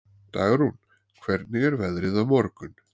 Dagrún, hvernig er veðrið á morgun?